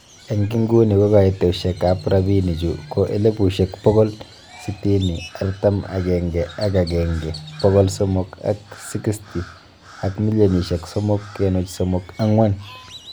Eng inguni ko kaitoshek ab robini chu ko elipushek bokol sisit artam agenge ak agenge bokol somok ak sikisti ak milionishek somok kenuch somok angwan.